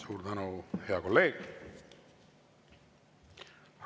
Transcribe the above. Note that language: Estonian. Suur tänu, hea kolleeg!